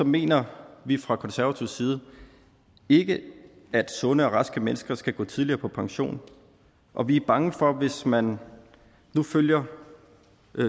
mener vi fra konservatives side ikke at sunde og raske mennesker skal gå tidligere på pension og vi er bange for at det hvis man nu følger